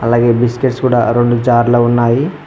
అలాగే బిస్కెట్స్ కూడా రెండు చార్లా ఉన్నాయి.